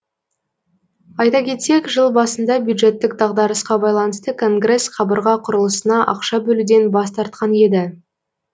айта кетсек жыл басында бюджеттік дағдарысқа байланысты конгресс қабырға құрылысына ақша бөлуден бас тартқан еді